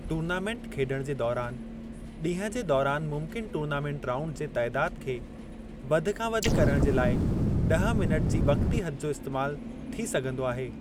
Tournament खेड॒णु जे दौरान, ॾींहुं जे दौरान मुमकिन टूर्नामेंट राउंड जे तइदादु खे वधि खां वधि करणु जे लाइ 10 मिनट जी वक़ती हदु जो इस्तैमालु थी सघिंदो आहे।